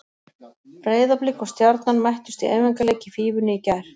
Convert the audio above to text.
Breiðablik og Stjarnan mættust í æfingarleik í Fífunni í gær.